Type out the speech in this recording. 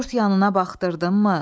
Dörd yanına baxdırdınmı?